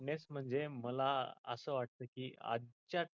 fitness म्हणजे मला आस वाटत की आजच्या